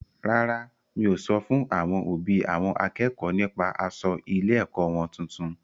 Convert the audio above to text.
Rárá, mi o sọ fún àwọn òbí àwọn akẹ́kọ̀ọ́ nípa aṣọ ilé-ẹ̀kọ́ wọn tuntun.